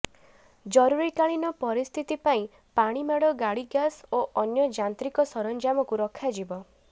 ଜରୁରିକାଳୀନ ପରିସ୍ଥିତି ପାଇଁ ପାଣିମାଡ ଗାଡି ଗ୍ୟାସ୍ ଓ ଅନ୍ୟ ଯାନ୍ତ୍ରିକ ସରଞ୍ଜାମକୁ ରଖାଯିବ